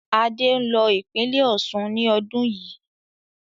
Adé ń lọ ìpínlẹ́ Osun ni ọdún yii